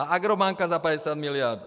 A Agrobanka za 50 miliard?